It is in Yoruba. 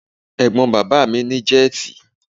Ẹ̀gbọ́n bàbá mi ní jẹ́tì.